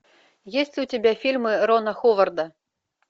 есть ли у тебя фильмы рона ховарда